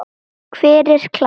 Hver er klár?